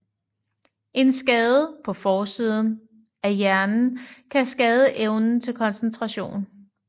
En skade på forsiden af hjernen kan skade evnen til koncentration